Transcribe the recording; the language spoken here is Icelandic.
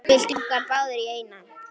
Byltum okkur báðar í einu.